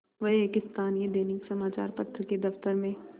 वह एक स्थानीय दैनिक समचार पत्र के दफ्तर में